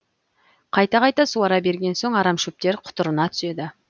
қайта қайта суара берген соң арамшөптер құтырына түседі